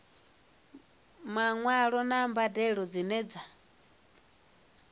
maṅwalo na mbadelo dzine dza